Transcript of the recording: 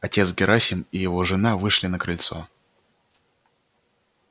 отец герасим и жена его вышли на крыльцо